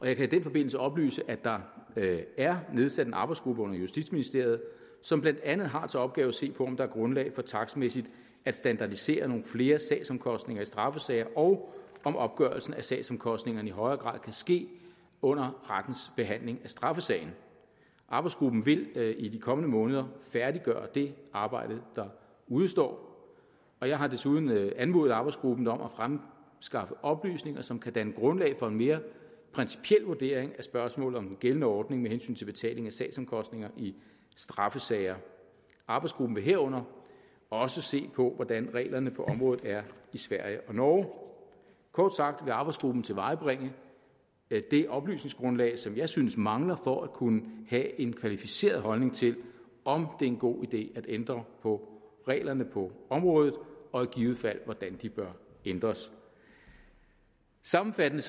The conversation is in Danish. jeg kan i den forbindelse oplyse at der er nedsat en arbejdsgruppe under justitsministeriet som blandt andet har til opgave at se på om der er grundlag for takstmæssigt at standardisere nogle flere sagsomkostninger i straffesager og om opgørelsen af sagsomkostningerne i højere grad kan ske under rettens behandling af straffesagen arbejdsgruppen vil i de kommende måneder færdiggøre det arbejde der udestår og jeg har desuden anmodet arbejdsgruppen om at fremskaffe oplysninger som kan danne grundlag for en mere principiel vurdering af spørgsmålet om den gældende ordning med hensyn til betaling af sagsomkostninger i straffesager arbejdsgruppen vil herunder også se på hvordan reglerne på området er i sverige og norge kort sagt vil arbejdsgruppen tilvejebringe det oplysningsgrundlag som jeg synes mangler for at kunne have en kvalificeret holdning til om det er en god idé at ændre på reglerne på området og i givet fald hvordan de bør ændres sammenfattende